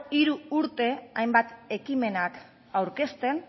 hiru urte hainbat ekimenak aurkezten